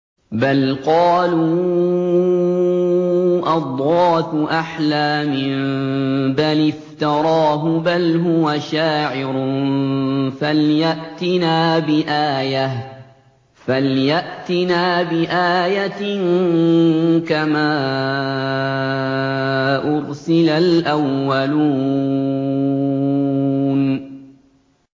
بَلْ قَالُوا أَضْغَاثُ أَحْلَامٍ بَلِ افْتَرَاهُ بَلْ هُوَ شَاعِرٌ فَلْيَأْتِنَا بِآيَةٍ كَمَا أُرْسِلَ الْأَوَّلُونَ